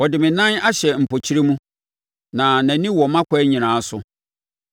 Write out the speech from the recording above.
Ɔde me nan ahyɛ mpɔkyerɛ mu; na nʼani wɔ mʼakwan nyinaa so.’